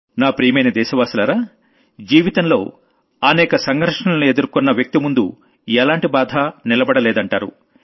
నా ప్రియమైన దేశవాసులారా జీవితంలో అనేక సంఘర్షణలను ఎదుర్కున్న వ్యక్తి ముందు ఎలాంటి బాధా నిలబడలేదంటారు